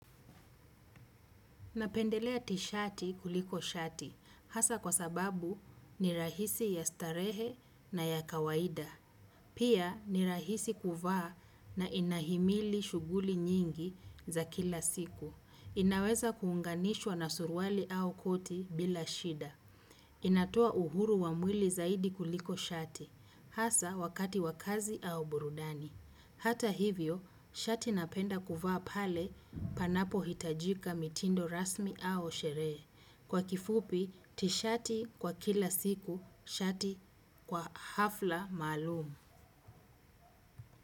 Napendelea tishati kuliko shati hasa kwa sababu ni rahisi ya starehe na ya kawaida. Pia ni rahisi kuvaa na inahimili shughuli nyingi za kila siku. Inaweza kuunganishwa na suruali au koti bila shida. Inatoa uhuru wa mwili zaidi kuliko shati, hasa wakati wa kazi au burudani. Hata hivyo, shati napenda kuvaa pale panapohitajika mitindo rasmi au sherehe. Kwa kifupi, tishati kwa kila siku, shati kwa hafla maalum.